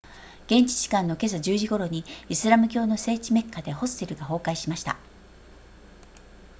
現地時間の今朝10時頃にイスラム教の聖地メッカでホステルが崩壊しました